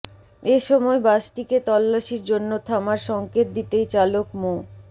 এ সময় বাসটিকে তল্লাশির জন্য থামার সঙ্কেত দিতেই চালক মো